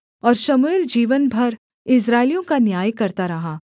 और शमूएल जीवन भर इस्राएलियों का न्याय करता रहा